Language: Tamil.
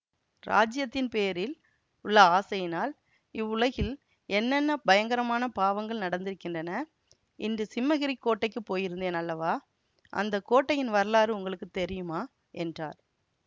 இராஜ்யத்தின் பேரில் உள்ள ஆசையினால் இவ்வுலகில் என்னென்ன பயங்கரமான பாவங்கள் நடந்திருக்கின்றன இன்று சிம்மகிரிக் கோட்டைக்குப் போயிருந்தேன் அல்லவா அந்த கோட்டையின் வரலாறு உங்களுக்கு தெரியுமா என்றார்